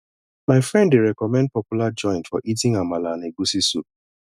my friend dey recommend popular joint for eating amala and egusi soup